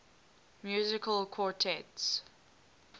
musical quartets